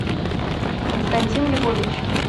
константин львович